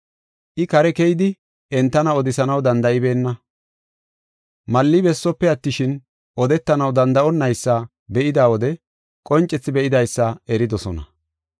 I kare keyidi entana odisanaw danda7ibeenna. Malli besope attishin, odetanaw danda7onaysa be7ida wode qoncethi be7idaysa eridosona.